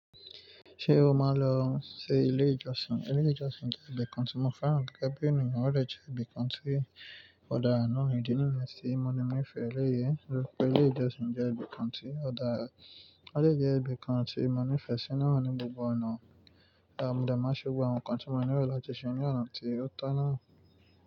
Ṣé o máa lọ sí ilé ìjọsìn? Ilé ìjọsìn jẹ́ ibi kan tí mo fẹ́ràn gẹ́gẹ́ bí ènìyàn, ó dè jẹ́ ibi kan tí ọ̀darà náà idi naa niyen tí. Mo ni mí fẹ́ eléyìí, torí pé pé ilé ìjọsìn jẹ́ ibi kan tí ọ̀dàrá, ó dè jẹ́ ibi kan tí mo nífẹ̀ẹ́ sí náà ní gbogbo ọ̀nà. Òò ehm mo dẹ̀ máa ṣẹ́ gbogbo àwọn nǹkan tí mo nílò láti ṣe ní ọ̀nà tí ó tọ́ náà.